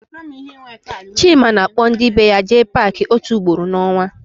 Chima na-akpọ ndị be ya eje Paakị ótù ugboro n'ọnwa.